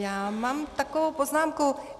Já mám takovou poznámku.